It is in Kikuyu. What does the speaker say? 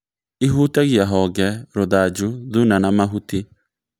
Īhutagia honge, rũthanju, thuna, na mahuti